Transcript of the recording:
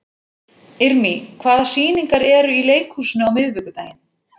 Irmý, hvaða sýningar eru í leikhúsinu á miðvikudaginn?